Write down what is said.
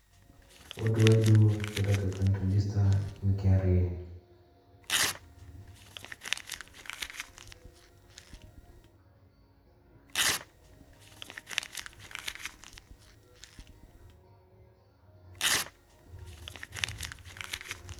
Responded in English